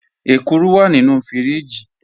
Ẹ̀kúrù wà nínu fíríjì.